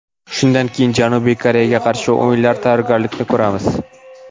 Shundan keyin Janubiy Koreyaga qarshi o‘yinga tayyorgarlik ko‘ramiz.